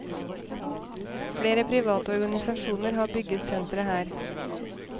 Flere private organisasjoner har bygget sentre her.